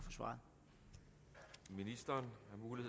for svaret